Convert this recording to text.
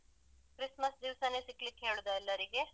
Christmas ದಿವ್ಸನೆ ಸಿಗ್ಲಿಕ್ಕೆ ಹೇಳುದಾ ಎಲ್ಲರಿಗೆ?